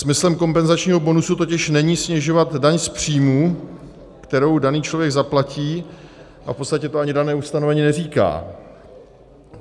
Smyslem kompenzačního bonusu totiž není snižovat daň z příjmů, kterou daný člověk zaplatí, a v podstatě to ani dané ustanovení neříká.